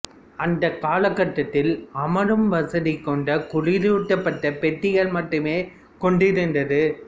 அந்த காலகட்டத்தில் அமரும்வசதி கொண்ட குளிரூட்டப்பட்ட பெட்டிகளை மட்டுமே கொண்டிருந்தது